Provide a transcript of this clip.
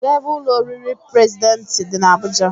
Kedụ ebe ụlọ oriri prezidentị dị n'Abuja?